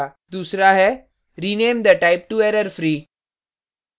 दूसरा है rename the type to errorfree